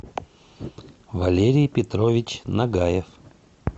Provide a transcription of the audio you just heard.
валерий петрович нагаев